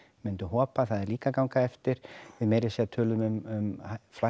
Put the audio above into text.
myndu hopa það er líka að ganga eftir við meira að segja töluðum um